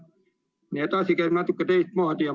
Nii et asi käib natuke teistmoodi.